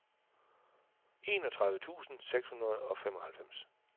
enogtredive tusind seks hundrede og femoghalvfems